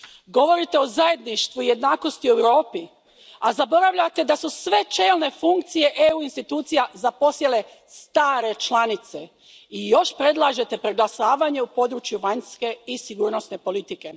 Govorite o zajedništvu i jednakosti u Europi, a zaboravljate da su sve čelne funkcije EU institucija zaposjele stare članice i još predlažete preglasavanje u području vanjske i sigurnosne politike.